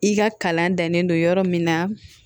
I ka kalan dannen don yɔrɔ min na